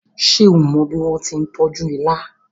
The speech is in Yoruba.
ṣe o mó bí wón tí tọjú ìlà